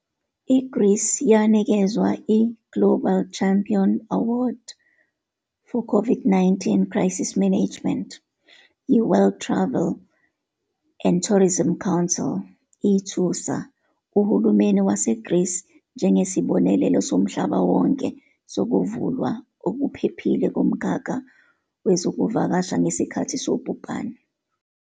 I-Greece yanikezwa i- "Global Champion Award for COVID-19 Crisis Management" yi-World Travel and Tourism Council, "ithusa" uhulumeni waseGreece "njengesibonelo somhlaba wonke sokuvulwa okuphephile komkhakha wezokuvakasha ngesikhathi sobhubhane".